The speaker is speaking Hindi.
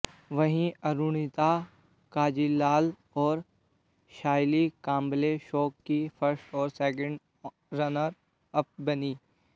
वहीं अरुणिता कांजीलाल और सायली कांबले शो की फर्स्ट और सेकंड रनर अप बनीं